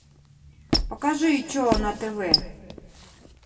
покажи че на тв